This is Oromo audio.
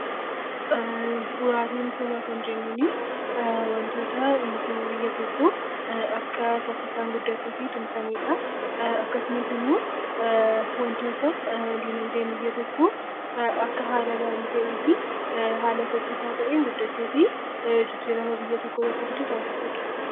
Bu'uuraalee misoomaa kan jennuun, waantota misooma biyya tokkoo akka saffisaan guddatu tumsanidha. Akkasumas immoo waantota dinaagdeen biyya tokkoo akka haala gaarii ta'ee fi haala saffisaa ta'een guddatee fi jijjiirama biyya tokkoo irratti taasisudha.